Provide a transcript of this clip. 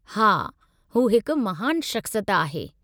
हा, हू हिकु महानु शख़्सियत आहे।